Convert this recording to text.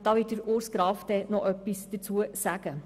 Dazu wird Grossrat Graf noch etwas sagen.